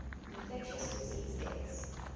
infectious disease deaths